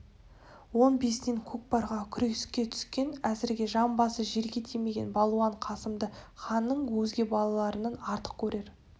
он бесінен көкпарға күреске түскен әзірге жамбасы жерге тимеген балуан қасымды ханның өзге балаларынан артық көрер